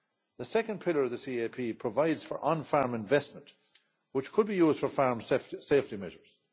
The second pillar of the CAP provides for on farm investment which could be used for farm safety measures.